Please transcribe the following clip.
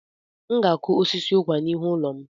Aga m akụ osisi ụkwà n'ihu ụlọ m.